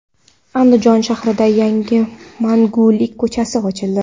Andijon shahrida yangi Mangulik ko‘chasi ochildi.